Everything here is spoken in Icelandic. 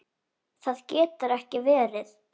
Það getur ekki verið